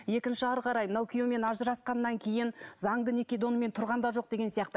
екінші әрі қарай мынау күйеуімен ажырасқаннан кейін заңды некеде онымен тұрған да жоқ деген сияқты